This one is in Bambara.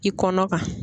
I kɔnɔ kan